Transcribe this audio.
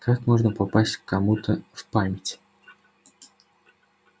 как можно попасть к кому-то в память